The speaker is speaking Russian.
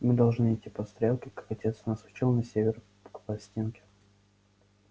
мы должны идти по стрелке как отец нас учил на север к палестинке